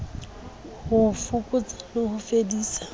ho fokotsa le ho fedisa